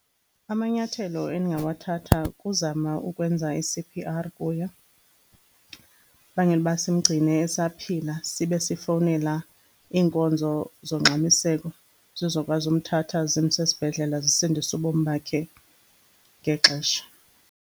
Amanyathelo endingawathatha kukuzama ukwenza i-C_P_R kuye, bangela ukuba simgcine esaphila. Sibe sifowunela iinkonzo zongxamiseko zizokwazi umthatha zimse esibhedlela, zisindise ubomi bakhe ngexesha.